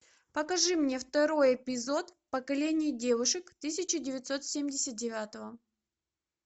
покажи мне второй эпизод поколение девушек тысяча девятьсот семьдесят девятого